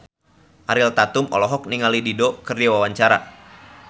Ariel Tatum olohok ningali Dido keur diwawancara